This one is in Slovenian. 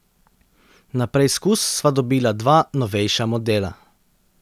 Na preizkus sva dobila dva novejša modela.